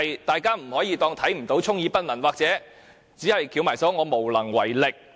政府不可以當作看不到，充耳不聞，或只是翹起雙手，表示無能為力。